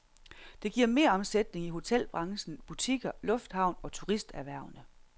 Det giver meromsætning i hotelbranchen, butikker, lufthavn og turisterhvervene.